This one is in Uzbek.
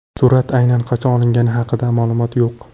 Surat aynan qachon olingani haqida ma’lumot yo‘q.